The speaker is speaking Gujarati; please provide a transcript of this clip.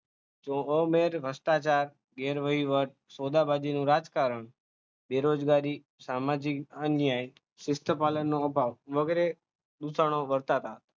ભ્રષ્ટાચાર, ગેરવહીવટ, સોદાબાજીનું રાજકારણ, બેરોજગારી, સામાજિક અન્યાય, શિસ્તપાલનનો અભાવ વગેરે દુષણો વર્તાતા.